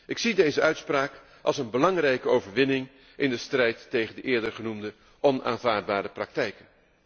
Ik zie deze uitspraak als een belangrijke overwinning in de strijd tegen de eerder genoemde onaanvaardbare praktijken.